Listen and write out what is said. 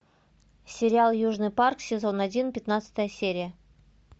сериал южный парк сезон один пятнадцатая серия